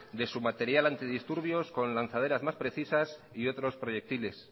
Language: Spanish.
de su material antidisturbios con lanzaderas más precisas y otros proyectiles